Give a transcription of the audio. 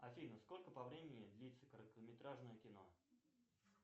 афина сколько по времени длится короткометражное кино